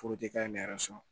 k'a ye ne yɛrɛ sɔn